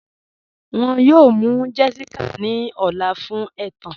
Wọn yọ̀ọ̀ mụ́ Jessica ní ọ̀lá fun ètán.